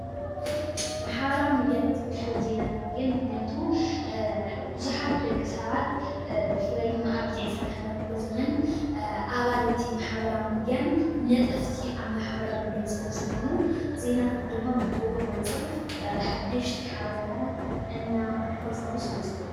ማሕበራዊ ሚድያታት ፍልፍል ዜናታት እየን፡፡ ምኽንያቱ ብዙሓት ደቂ ሰባት ብፍላይ ድማ ኣብዚ ዒስራን ሓደን ክ/ዘመን ኣባል እቲ ማሕበራዊ ሚድያን ነጠፍቲ ኣብ ማሕበራዊ ሚድያን ዝኾኑ ዜናታት ድማ ብኡኡ መንፅር ሓደሽቲ ሓበሬታት እናፈልፈሉ ስለዝኸዱ::